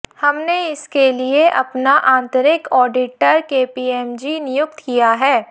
हमने इसके लिए अपना आंतरिक ऑडिटर केपीएमजी नियुक्त किया है